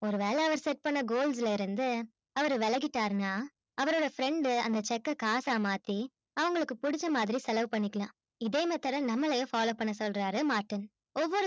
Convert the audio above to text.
ஒருவேள அவரு set பண்ண goals ல இருந்து அவரு வெலகிட்டாருணா அவரோட friend டு அந்த check அ காசா மாத்தி அவங்களுக்கு புடிச்ச மாதிரி செலவு பண்ணிக்கலாம் இதே method அ நம்மளையும் follow பண்ண சொல்றாரு martin